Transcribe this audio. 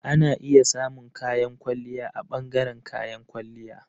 Ana iya samun kayan kwalliya a ɓangaren kayan kwalliya.